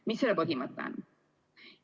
Mis selle põhimõte on?